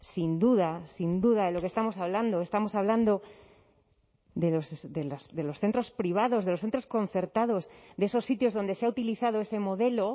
sin duda sin duda de lo que estamos hablando estamos hablando de los centros privados de los centros concertados de esos sitios donde se ha utilizado ese modelo